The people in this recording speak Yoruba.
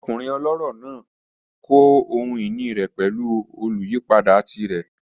Ọkunrin ọlọrọ naa kọ ohun-ini rẹ pẹlu oluyipada tirẹ.